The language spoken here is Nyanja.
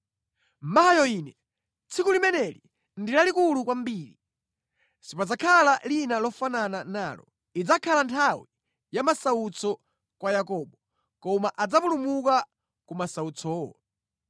Mayo ine! Tsiku limeneli ndi lalikulu kwambiri! Sipadzakhala lina lofanana nalo. Idzakhala nthawi ya masautso kwa Yakobo, koma adzapulumuka ku masautsowo.”